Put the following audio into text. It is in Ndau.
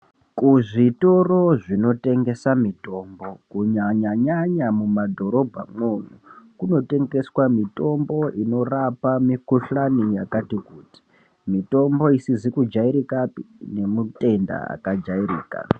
Kuzvitoro zvinotengesa mitombo Kunyanyanyanya mumadhorobha mwoumwo kunotengeswa mitombo inorapa mikhuhlani yakati kuti. Mitombo isizi kujairikapi nemutenda akajairika.